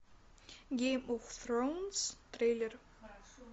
гейм оф тронс трейлер